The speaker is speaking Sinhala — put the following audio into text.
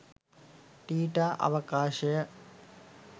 ටීටා අවකාශය